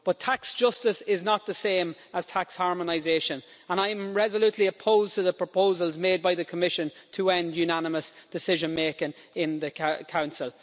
But tax justice is not the same as tax harmonisation, and I am resolutely opposed to the proposals made by the Commission to end unanimous decision making in the Council.